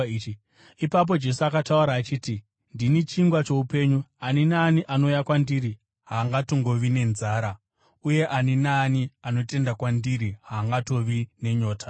Ipapo Jesu akataura achiti, “Ndini chingwa choupenyu. Ani naani anouya kwandiri haangatongovi nenzara, uye ani naani anotenda kwandiri haangatongovi nenyota.